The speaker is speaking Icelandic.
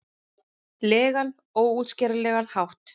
legan, óútskýranlegan hátt.